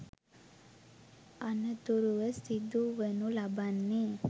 අනතුරුව සිදුවනු ලබන්නේ